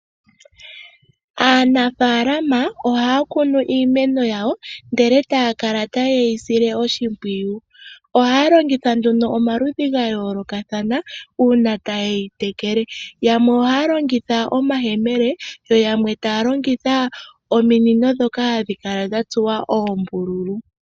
Aanafaalama ohaya kunu iimeno yawo, ndele taya kala taye yi sile oshimpwiyu. Ohaya longitha nduno omaludhi ga yoolokathana uuna taye yi tekele. Yamwe ohaya longitha omayemele, yo yamwe taya longitha ominino ndhoka hadhi kala dha tsuwa oombululu.